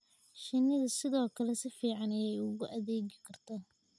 shinnida sidoo kale si fiican ayey ugu adeegi kartaa